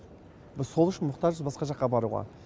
біз сол үшін мұқтажбыз басқа жаққа баруға